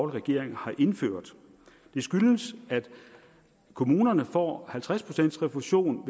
regering har indført det skyldes at kommunerne får halvtreds procent refusion